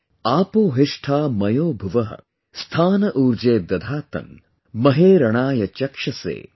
आपो हिष्ठा मयो भुवः, स्था न ऊर्जे दधातन, महे रणाय चक्षसे,